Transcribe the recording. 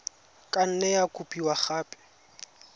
ka nne ya kopiwa gape